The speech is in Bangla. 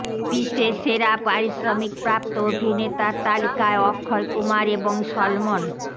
বিশ্বের সেরা পারিশ্ৰমিক প্ৰাপ্ত অভিনেতার তালিকায় অক্ষয় কুমার এবং সলমন